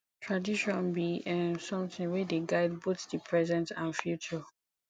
tradition bi um somtin wey dey guide both di present and future